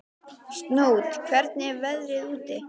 Snót, hvernig er veðrið úti?